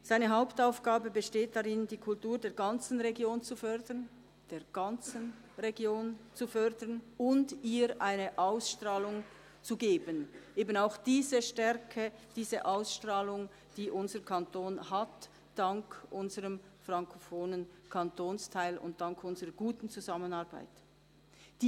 Seine Hauptaufgabe besteht darin, die Kultur der ganzen Region zu fördern und ihr eine Ausstrahlung zu geben – eben auch diese Stärke, diese Ausstrahlung, die unser Kanton dank unseres frankophonen Kantonsteils und dank unserer guten Zusammenarbeit hat.